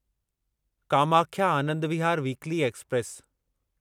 Kamakhya Anand Vihar weekly express